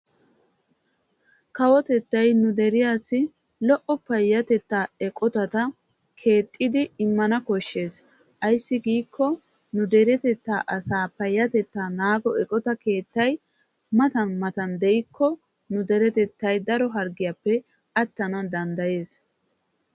Kawotettay nu deriyassi lo'o payatetta keettatta immanwu koshees payatetta eqottay matan matan de'ikko asay harggiyappe naagetanna danddayees.